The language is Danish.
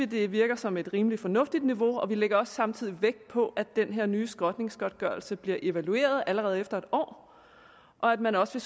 det virker som et rimelig fornuftigt niveau og vi lægger også samtidig vægt på at den her nye skrotningsgodtgørelse bliver evalueret allerede efter en år og at man også